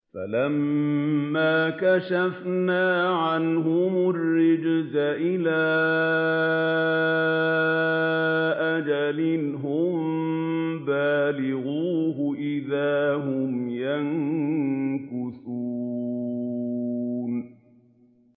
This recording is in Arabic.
فَلَمَّا كَشَفْنَا عَنْهُمُ الرِّجْزَ إِلَىٰ أَجَلٍ هُم بَالِغُوهُ إِذَا هُمْ يَنكُثُونَ